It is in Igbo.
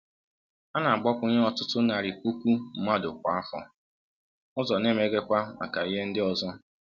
A na-agbakwụnye ọtụtụ narị puku mmadụ kwa afọ, ụzọ na-emeghekwa maka ihe ndị ọzọ.